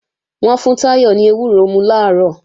Wọ́n fún Táyọ̀ ní ewúro mú làárọ̀